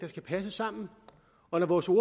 at passe sammen